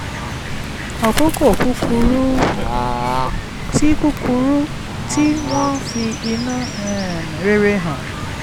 àkókò kúkúrú tí kúkúrú tí wọ́n fi inú um rere hàn